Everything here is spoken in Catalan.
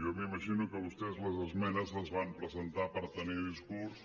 jo m’imagino que vostès les esmenes les van presentar per tenir discurs